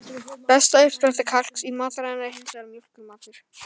Besta uppspretta kalks í mataræðinu er hins vegar mjólkurmatur.